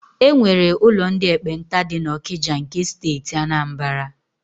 E nwere ụlọ ndị ekpenta dị n'Ọkịja nke Steeti Anambara.